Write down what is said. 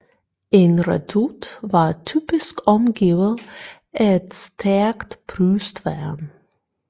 En redoute var typisk omgivet af et stærkt brystværn